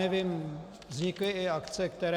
Nevím, vznikly i akce, které...